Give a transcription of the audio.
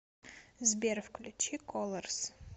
сбер включи колорс